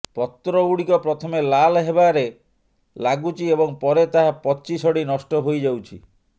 ପତ୍ର ଗୁଡ଼ିକ ପ୍ରଥମେ ଲାଲ ହେବାରେ ଲାଗୁଛି ଏବଂ ପରେ ତାହା ପଚି ସଢ଼ି ନଷ୍ଠ ହୋଇଯାଉଛି